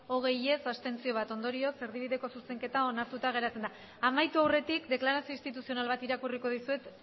hogei abstentzioak bat ondorioz erdibideko zuzenketa onartuta geratzen da amaitu aurretik deklarazio instituzional bat irakurriko dizuet